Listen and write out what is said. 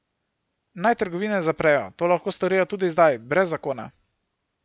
Naj trgovine zaprejo, to lahko storijo tudi zdaj, brez zakona.